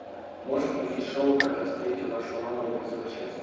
можешь включить шоу как я встретил вашу маму эпизод шесть